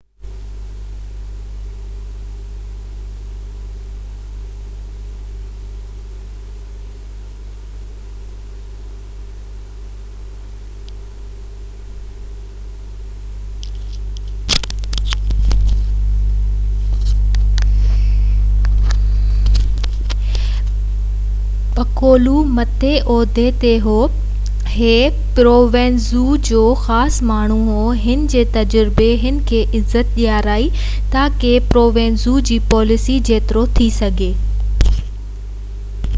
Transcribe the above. police چيو Lo Piccolo مٿيئن عهدي تي هو ڇاڪاڻ تہ هي پلرمو ۾ پرووينزانو جو خاص ماڻهو هو ۽ هن جي گهڻي تجربي هن کي پراڻن مالڪن کان عزت ڏيرائي جيئن تہ انهن پنهنجي طاقت جو نيٽورڪ مضبوط ڪرڻ دوران پرووينزانو جي پاليسي جيترو ٿي سگهي پنهنجي پاڻ کي هيٺ رکو تي عمل ڪيو